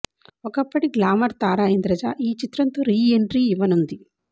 ఒకప్పటి గ్లామర్ తార ఇంద్రజ ఈ చిత్రంతో రీ ఎంట్రీ ఇవ్వనుంది